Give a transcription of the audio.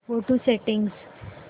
go to settings